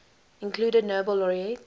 included nobel laureate